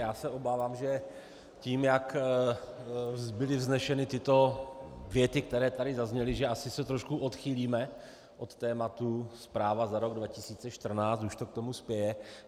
Já se obávám, že tím, jak byly vzneseny tyto věty, které tady zazněly, že asi se trošku odchýlíme od tématu zpráva za rok 2014, už to k tomu spěje.